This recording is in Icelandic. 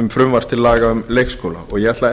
um frumvarp til laga um leikskóla og eg ætla